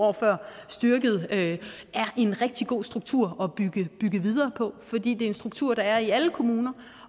år før er en rigtig god struktur at bygge videre på fordi det er en struktur der er i kommuner